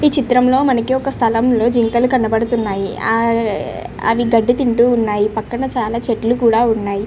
ఈ చిత్రం లో మనకి ఒక స్థలం లోలో జింకలు కనపడుతున్నాయి ఆ అవి గడ్డి తింటూ ఉన్నాయి పక్కన చాలా చెట్లు కూడా ఉన్నాయి.